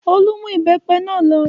Olú mú ìbẹ́pẹ náà lọ.